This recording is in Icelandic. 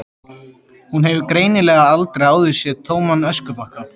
Hún hefur greinilega aldrei áður séð tóman öskubakka.